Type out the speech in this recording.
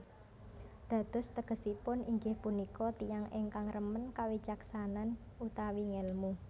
Dados tegesipun inggih punika tiyang ingkang remen kawicaksanan utawi ngèlmu